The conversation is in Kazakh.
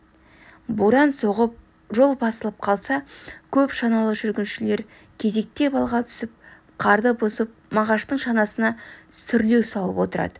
боран соғып жол басылып қалса көп шаналы жүргіншілер кезектеп алға түсіп қарды бұзып мағаштың шанасына сүрлеу салып отырады